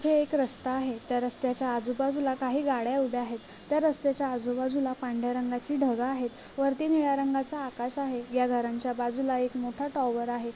इथे एक रस्ता आहे त्या रस्त्याच्या आजू बाजूला काही गाड्या उभ्या आहे त्या रस्त्याच्या आजू बाजूला पांढऱ्या रंगाची ढग आहे वरती नीला रंगाच आकाश आहे या घरांच्या बाजूला एक मोटा टॉवर आहे.